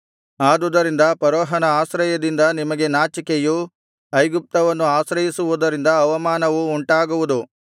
ಆದುದರಿಂದ ಫರೋಹನ ಆಶ್ರಯದಿಂದ ನಿಮಗೆ ನಾಚಿಕೆಯು ಐಗುಪ್ತವನ್ನು ಆಶ್ರಯಿಸುವುದರಿಂದ ಅವಮಾನವು ಉಂಟಾಗುವುದು